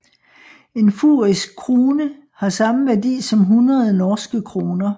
En fusisk krune har samme værdi som hundrede norske kroner